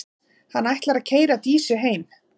Hann ætlar að keyra Dísu heim.